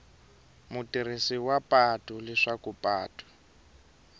mutirhisi wa patu leswaku patu